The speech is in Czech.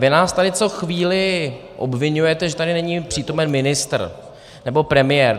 Vy nás tady co chvíli obviňujete, že tady není přítomen ministr nebo premiér.